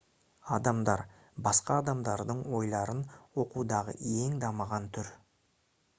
адамдар басқа адамдардың ойларын оқудағы ең дамыған түр